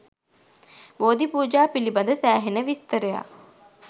බෝධි පූජා පිළිබද සෑහෙන විස්තරයක්